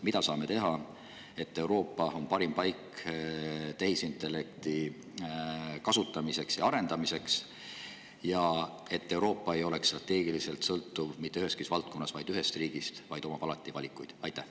Mida saame teha, et Euroopa oleks parim paik tehisintellekti kasutamiseks ja arendamiseks ning et Euroopa ei oleks strateegiliselt sõltuv mitte üheski valdkonnas ühest riigist, vaid omaks alati valikuid?